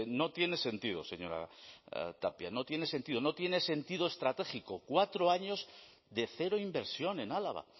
no tiene sentido señora tapia no tiene sentido estratégico cuatro años de cero inversión en álava